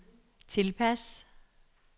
tilpas